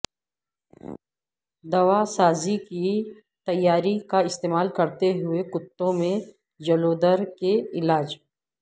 دواسازی کی تیاری کا استعمال کرتے ہوئے کتوں میں جلودر کے علاج